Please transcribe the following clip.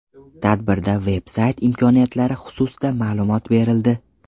Tadbirda veb-sayt imkoniyatlari xususida ma’lumot berildi.